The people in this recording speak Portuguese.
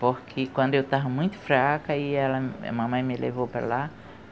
Porque quando eu estava muito fraca, aí ela, eh mamãe me levou para lá.